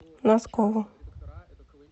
носкову